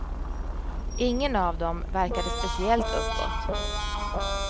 Ingen av dem verkade speciellt uppåt.